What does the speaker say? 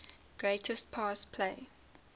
greatest pass play